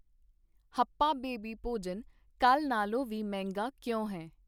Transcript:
ਹੱਪਆ baby ਭੋਜਨ ਕੱਲ੍ਹ ਨਾਲੋਂ ਵੀ ਮਹਿੰਗਾ ਕਿਉਂ ਹੈ